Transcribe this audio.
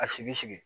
A sigi sigi